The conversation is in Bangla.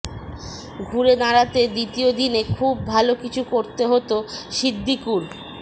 ঘুরে দাঁড়াতে দ্বিতীয় দিনে খুব ভালো কিছু করতে হতো সিদ্দিকুর